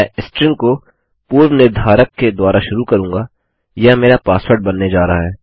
मैं स्ट्रिंग को पूर्व निर्धारक के द्वारा शुरू करूँगा यह मेरा पासवर्ड बनने जा रहा है